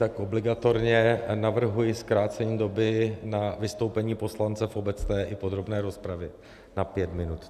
Tak obligatorně navrhuji zkrácení doby na vystoupení poslance v obecné i podrobné rozpravě na pět minut.